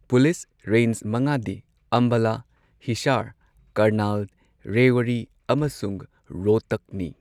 Police range ꯃꯉꯥꯗꯤ ꯑꯝꯕꯥꯂꯥ, ꯍꯤꯁꯥꯔ, ꯀꯔꯅꯥꯜ, ꯔꯦꯋꯥꯔꯤ ꯑꯃꯁꯨꯡ ꯔꯣꯍꯇꯥꯛꯅꯤ꯫